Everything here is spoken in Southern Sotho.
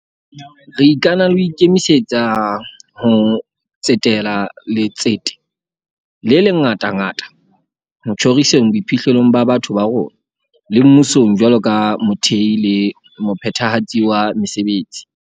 Re ikana le ho ikemisetsa ho tsetela letsete le ngatangata ho tjhoriseng boiphihlelo ba batho ba rona, le mmusong jwalo ka mothehi le mophethahatsi wa mesebetsi.